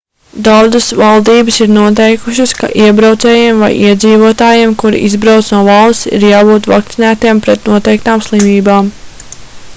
daudzas valdības ir noteikušas ka iebraucējiem vai iedzīvotājiem kuri izbrauc no valsts ir jābūt vakcinētiem pret noteiktām slimībām